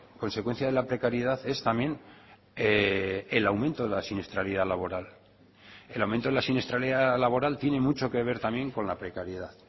consecuencia de la precariedad es también el aumento de la siniestralidad laboral el aumento de la siniestralidad laboral tiene mucho que ver también con la precariedad